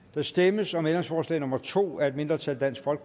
der stemmes om ændringsforslag nummer to af et mindretal